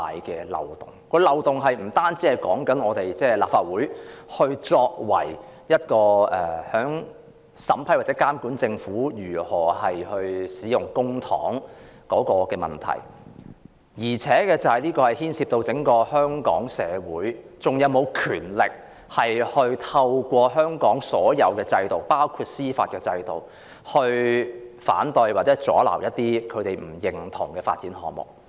這個漏洞不僅涉及立法會審批或監察政府使用公帑的職能，也牽涉香港社會是否還有權力透過香港所有制度，包括司法制度來反對或阻撓一些不獲認同的發展項目。